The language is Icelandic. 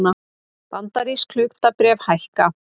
Bandarísk hlutabréf hækka